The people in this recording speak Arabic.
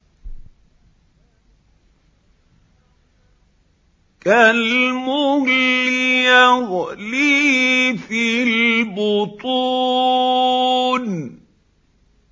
كَالْمُهْلِ يَغْلِي فِي الْبُطُونِ